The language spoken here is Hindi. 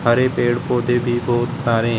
हरे पेड़ पौधे भी बहुत सारे है।